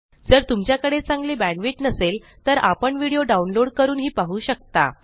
जर तुमच्या कडे चांगली बॅण्डविथ नसेल तर आपण व्हिडीओ डाउनलोड करूनही पाहू शकता